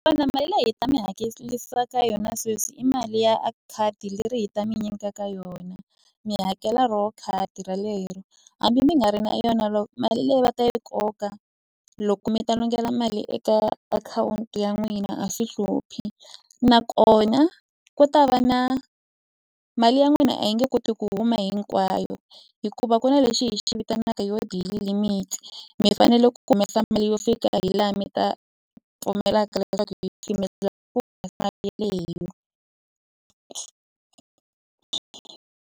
mali leyi hi ta mi hakerisaka yona sweswi i mali ya a khadi leri hi ta mi nyika ka yona mi hakela ro khadi ralero hambi mi nga ri na yona lo mali leyi va ta yi koka loko mi ta longela mali eka akhawunti ya n'wina a swi hluphi nakona ku ta va na mali ya n'wina a yi nge koti ku huma hinkwayo hikuva ku na lexi hi xi vitanaka yo daily limit mi fanele ku humesa mali yo fika hi laha mi ta pfumelaka leswaku hi mali leyo.